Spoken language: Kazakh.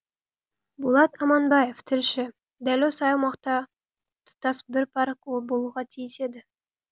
болат аманбаев тілші дәл осы аумақта тұтас бір парк болуға тиіс еді